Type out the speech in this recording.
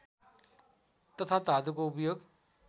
तथा धातुको उपयोग